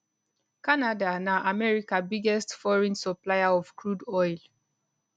canada na america biggest foreign supplier of crude oil